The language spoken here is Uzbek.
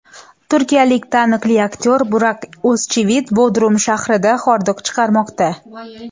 Turkiyalik taniqli aktyor Burak O‘zchivit Bodrum shahrida hordiq chiqarmoqda.